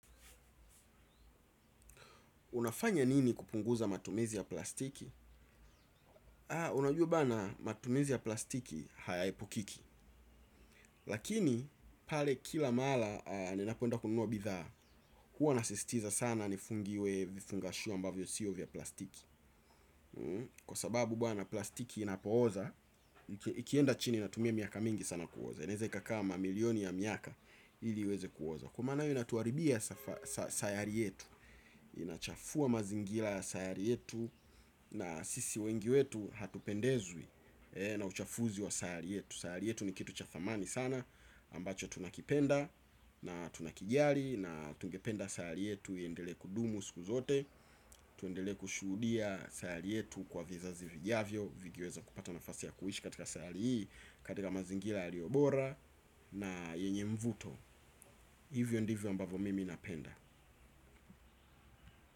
Unafanya nini kupunguza matumizi ya plastiki? Haa, unajua bana matumizi ya plastiki hayaepukiki. Lakini, pale kila mara ninapoenda kununuwa bidhaa, huwa nasisitiza sana nifungiwe vifungasho ambavyo sio vya plastiki. Kwa sababu bwana plastiki inapooza, ikienda chini inatumia miaka mingi sana kuoza. Inaweza ikakaa mamilioni ya miaka ili iweze kuoza. Kwa maana hiyo inatuaribia sayari yetu, inachafua mazingira ya sayari yetu, na sisi wengi wetu hatupendezwi na uchafuzi wa sayari yetu. Sayari yetu ni kitu cha thamani sana ambacho tunakipenda na tunakijali. Na tungependa sayari yetu iendelee kudumu siku zote. Tuendelee kushuhudia sayari yetu kwa vizazi vijavyo vikiweza kupata nafasi ya kuishi katika sayari hii katika mazingira yaliyo bora na yenye mvuto. Hivyo ndivyo ambavyo mimi napenda.